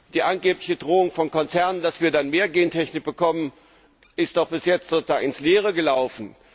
Die angebliche Drohung von Konzernen, dass wir dann mehr Gentechnik bekommen, ist doch bis jetzt sozusagen ins Leere gelaufen.